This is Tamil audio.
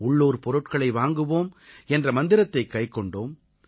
உள்ளூர் பொருட்களை வாங்குவோம் என்ற மந்திரத்தைக் கைக்கொண்டோம்